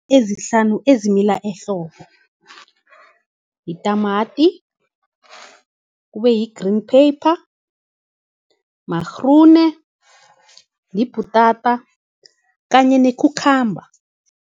Ezihlanu ezimila ehlobo yitamati, kube yi-green pepper, magrune, yibhutata kanye nekhukhamba.